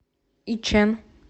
ичэн